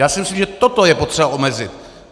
Já si myslím, že toto je potřeba omezit.